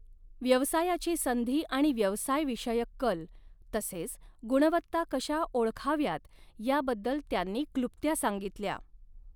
व्यवसायाची संधी आणि व्यवसाय विषयक कल तसेच गुणवत्ता कशा ओळखाव्यात याबद्दल त्यांनी क्लृप्त्या सांगितल्या.